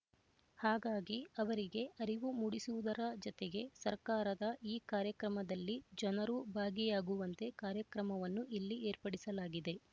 ಹಾಗಾಗಿ ಅವರಿಗೆ ಅರಿವು ಮೂಡಿಸುವುದರ ಜತೆಗೆ ಸರ್ಕಾರದ ಈ ಕಾರ್ಯಕ್ರಮದಲ್ಲಿ ಜನರೂ ಭಾಗಿಯಾಗುವಂತೆ ಕಾರ್ಯಕ್ರಮವನ್ನು ಇಲ್ಲಿ ಏರ್ಪಡಿಸಲಾಗಿದೆ